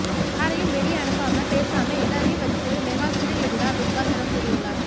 யாரையும் வெளிய அனுப்பாம பேசாம எல்லாரையும் வச்சு ஒரு மெகா சீரியல் எடுடா பிக்பாஸ் என கூறியுள்ளார்